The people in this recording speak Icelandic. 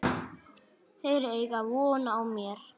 Þau eiga von á mér.